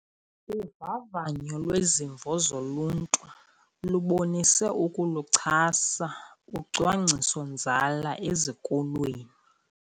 Uvavanyo lwezimvo zoluntu lubonise ukuluchasa ucwangciso-nzala ezikolweni.